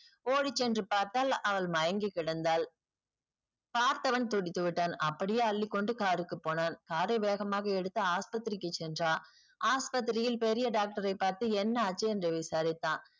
ஓடிச்சென்று பார்த்தால் அவள் மயங்கிக்கெடந்தால் பார்த்தவன் துடித்துவிட்டான் அப்படியே அள்ளிக்கொண்டு car க்கு போனான் car ஐ வேகமாக எடுத்து ஆஸ்பத்திரிக்கு சென்றான் ஆஸ்பத்திரியில் பெரிய doctor ஐ பார்த்து என்ன ஆச்சு என்று விசாரித்தான்.